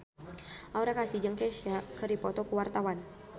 Aura Kasih jeung Kesha keur dipoto ku wartawan